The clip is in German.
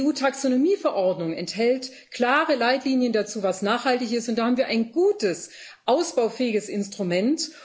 Die EU Taxonomie Verordnung enthält klare Leitlinien dazu, was nachhaltig ist, und da haben wir ein gutes, ausbaufähiges Instrument.